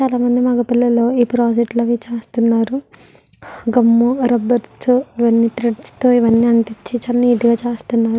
చాలామంది మగ పిల్లలు ఈ ప్రాజెక్ట్ లు అవి చేస్తున్నారు గుమ్ రబ్బర్ తో ఇవ్వని త్రెడ్స్ తో ఇవ్వని అంటించి చాల నీట్ గ చేస్తున్నారు.